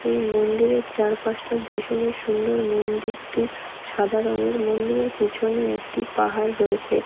এই মন্দিরের চারপাশটা ভীষণই সুন্দর মন্দিরটি সাদা রংয়ের মন্দিরের পিছনে একটি পাহাড় রয়েছে।